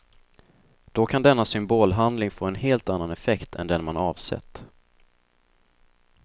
Då kan denna symbolhandling få en helt annan effekt än den man avsett.